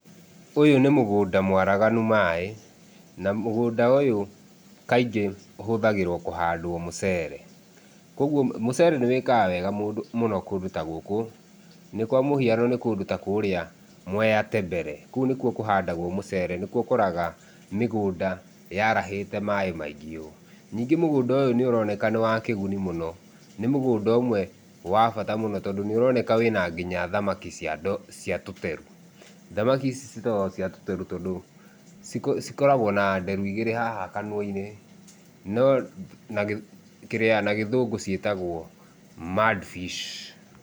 Ũyũ nĩ mũgũnda mwaraganu maĩ, na mũgũnda ũyũ kaingĩ ũhũthagĩrwo kũhandwo mũcere. Kũguo mũcere nĩ wĩkaga wega mũndũ mũno kũndũ ta gũkũ, nĩ kwa mũhiano nĩ kũndũ ta kũũrĩ Mwea Tembere. Kũu nĩ kuo kũhandagwo mũcere. Nĩ kuo ũkoraga mĩgũnda yarahĩte maĩ maingĩ ũũ. Ningĩ mũgũnda ũyũ nĩ ũroneka nĩ wa kĩguni mũno. Nĩ mũgũnda ũmwe wa bata mũno tondũ nĩ ũroneka wĩna nginya thamaki cia tũteru. Thamaki ici ciĩtagwi cia tũteru tondũ cikoragwo na nderu igĩrĩ haha kanua-inĩ, no na kĩrĩa gĩthũngũ ciĩtagwo mud fish.